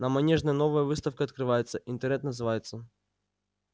на манежной новая выставка открывается интернет называется